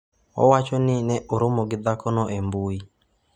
Owacho ni ne oromo gi dhakono e mbui.